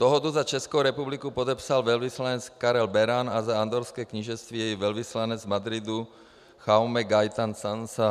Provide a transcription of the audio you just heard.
Dohodu za Českou republiku podepsal velvyslanec Karel Beran a za Andorrské knížectví jeho velvyslanec v Madridu Jaume Gaytan Sansa.